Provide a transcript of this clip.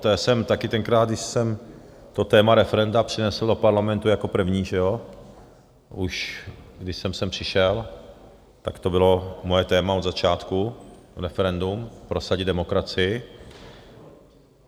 To jsem taky tenkrát, když jsem to téma referenda přinesl do parlamentu jako první, že jo, už když jsem sem přišel, tak to bylo moje téma od začátku - referendum, prosadit demokracii.